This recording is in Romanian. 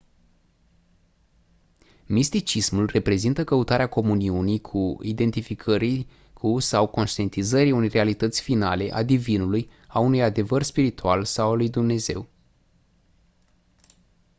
misticismul reprezintă căutarea comuniunii cu identificării cu sau conștientizării unei realități finale a divinului a unui adevăr spiritual sau a lui dumnezeu